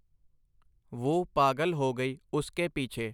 ਵੁਹ ਪਾਗਲ ਹੋ ਗਈ ਉਸ ਕੇ ਪੀਛੇ.